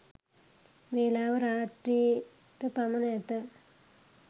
වේලාව රාත්‍රි .ට පමණ ඇත.